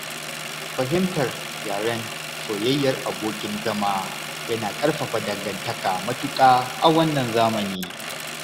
Fahimtar yaren soyayyar abokin zama yana ƙarfafa dangantaka matuƙa a wannan zamani.